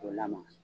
K'o lamaga